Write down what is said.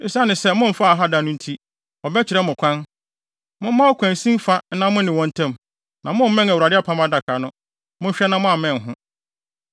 Esiane sɛ momfaa ha da no nti, wɔbɛkyerɛ mo kwan. Momma ɔkwansin fa nna mo ne wɔn ntam, na moammɛn Apam Adaka no. Monhwɛ na moammɛn ho.”